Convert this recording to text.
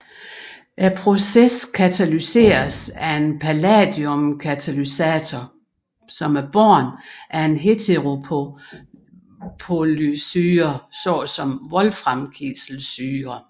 Processen katalyseres af en palladiumkatalysator båret af en heteropolysyre såsom wolframkiselsyre